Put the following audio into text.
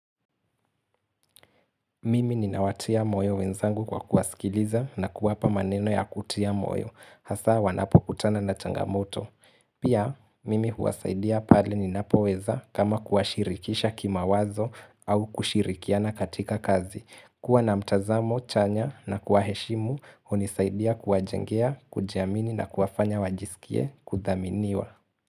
Mimi ninawatia moyo wenzangu kwa kuwasikiliza na kuwapa maneno ya kutia moyo, hasa wanapo kutana na changamoto. Pia, mimi huwasaidia pali ninapoweza kama kuashirikisha kima wazo au kushirikiana katika kazi. Kuwa na mtazamo, chanya na kuwaheshimu, hunisaidia kuwajengea, kujamini na kuwafanya wajisikie, kuthaminiwa.